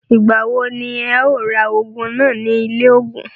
Ìgbà wo ní ẹ̀ o ra ògùn náà ní ilé ògùn?